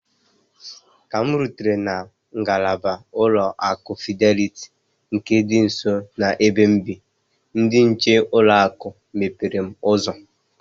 Ka m rutere na ngalaba ụlọ akụ Fideliti nke dị nso na-ebe m bị, ndị nche ụlọ akụ mepere m ụzọ.